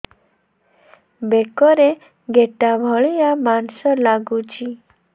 ବେକରେ ଗେଟା ଭଳିଆ ମାଂସ ଲାଗୁଚି